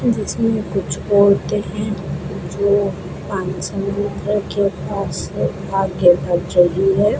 जिसमें कुछ औरतें हैं जो पानी से है।